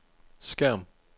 skærm